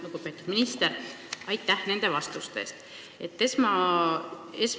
Lugupeetud minister, aitäh nende vastuste eest!